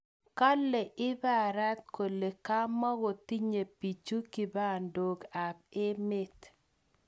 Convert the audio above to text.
Kalee Ipara kole kamogotinye piichu kibandook ap emet